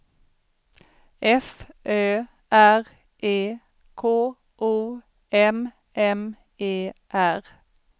F Ö R E K O M M E R